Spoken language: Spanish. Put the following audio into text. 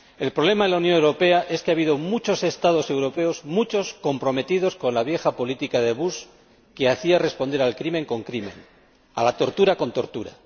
El problema de la Unión Europea es que ha habido muchos Estados europeos comprometidos con la vieja política de Bush, que respondía al crimen con crimen, a la tortura con tortura.